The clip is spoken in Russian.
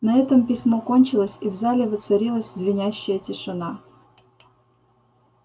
на этом письмо кончилось и в зале воцарилась звенящая тишина